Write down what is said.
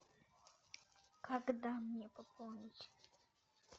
когда мне пополнить